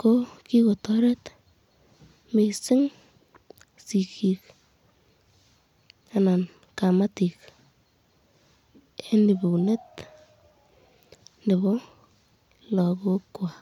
ko kiko